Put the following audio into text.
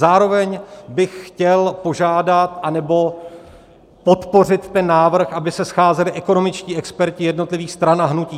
Zároveň bych chtěl požádat, anebo podpořit ten návrh, aby se scházeli ekonomičtí experti jednotlivých stran a hnutí.